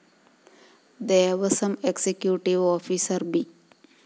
Devaswom executive officer B